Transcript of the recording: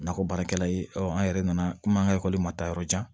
Nakɔ baarakɛla ye an yɛrɛ nana komi an ka ekɔli ma taa yɔrɔ jan